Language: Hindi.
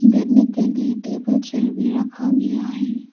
बैठने के लिए टेबल चेयर भी रखा गया है।